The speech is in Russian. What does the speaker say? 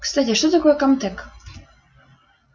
кстати а что такое этот камтек